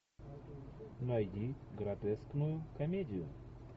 найди гротескную комедию